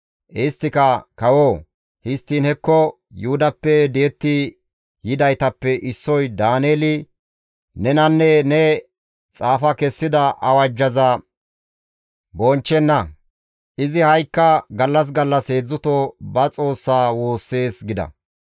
Isttika, «Kawoo! Histtiin hekko Yuhudappe di7etti yidaytappe issoy Daaneeli nenanne ne xaafa kessida awajjaza bonchchenna; izi ha7ikka gallas gallas heedzdzuto ba Xoossa woossees» gida.